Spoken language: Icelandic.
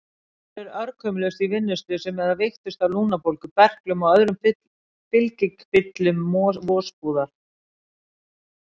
Aðrir örkumluðust í vinnuslysum eða veiktust af lungnabólgu, berklum og öðrum fylgikvillum vosbúðar.